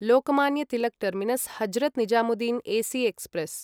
Lokmanya Tilak terminus Hazrat Nizamuddin AC express